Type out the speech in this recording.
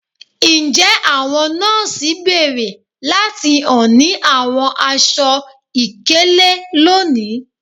Njẹ àwọn nọọsi béèrè láti hàn ní àwọn aṣọ-ìkélé lónìí?